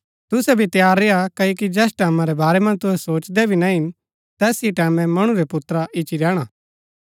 तुसै भी तैयार रेय्आ क्ओकि जैस टैमां रै वारै मन्ज तुहै सोचदै भी ना हिन तैस ही टैमैं मणु रै पुत्रा ईच्ची रैहणा